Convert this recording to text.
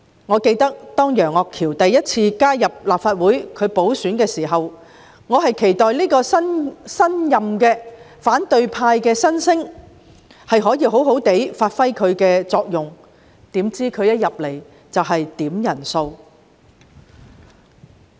我猶記得，當楊岳橋經補選首次加入立法會時，我期待這位新任反對派新星可以好好發揮其作用，豈料他一進入議會便要求點算人數。